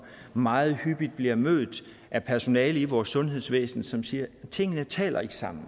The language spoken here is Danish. meget hyppigt bliver mødt af personale i vores sundhedsvæsen som siger at tingene ikke taler sammen